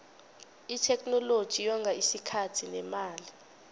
itheknoloji yonga isikhathi nemali